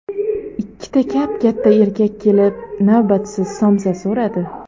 Ikkita kap-katta erkak kelib, navbatsiz somsa so‘radi.